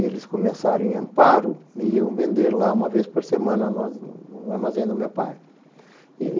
Eles começaram em Amparo e iam vender lá uma vez por semana no no armazém do meu pai.